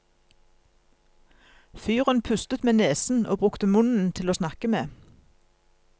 Fyren pustet med nesen og brukte munnen til åsnakke med.